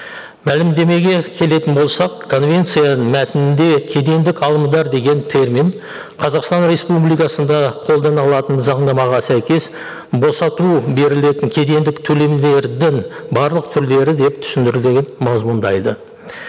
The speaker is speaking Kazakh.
мәлімдемеге келетін болсақ конвенцияның мәтінінде кедендік алымдар деген термин қазақстан республикасында қолданылатын заңнамаға сәйкес босату берілетін кедендік төлемдердің барлық түрлері деп түсіндіріліп мазмұндайды